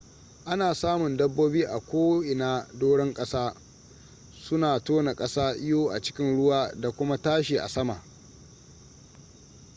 ana samun dabobi a ko in a doran kasa suna tona kasa iyo a cikin ruwa da kuma tashi a sama